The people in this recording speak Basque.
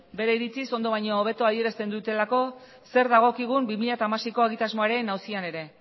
bere iritziz ondo baino hobeto adierazten dutelako zer dagokigun bi mila hamaseiko egitasmoaren auzian ere